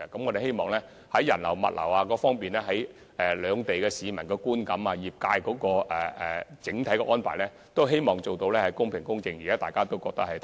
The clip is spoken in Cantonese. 我們希望在人流和物流、兩地市民的觀感及業界的整體安排等方面，做到公平公正，令大家感到安排妥善。